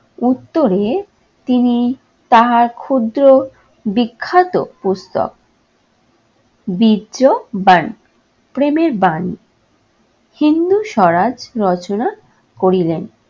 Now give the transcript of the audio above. উত্তরে তিনি তাহার ক্ষুদ্র বিখ্যাত পুস্তক বাণী, প্রেমের বাণী হিন্দু স্বরাজ রচনা করিলেন।